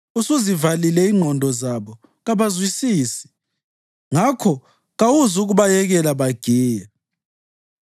Usuzivalile ingqondo zabo kabasazwisisi; ngakho kawuzukubayekela bagiye.